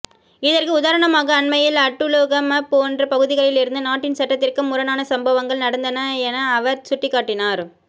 இதற்கு உதாரணமாக அண்மையில் அட்டுலுகம போன்ற பகுதிகளிலிருந்து நாட்டின் சட்டத்திற்கு முரணான சம்பவங்கள் நடந்தன என அவர் சுட்டிக்காட்டினார்